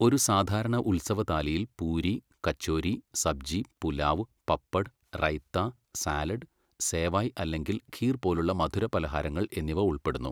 ഒരു സാധാരണ ഉത്സവ താലിയിൽ പൂരി, കച്ചോരി, സബ്ജി, പുലാവ്, പപ്പഡ്, റൈത്ത, സാലഡ്, സേവായ് അല്ലെങ്കിൽ ഖീർ പോലുള്ള മധുരപലഹാരങ്ങൾ എന്നിവ ഉൾപ്പെടുന്നു.